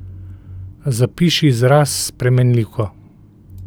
Zapiši izraz s spremenljivko.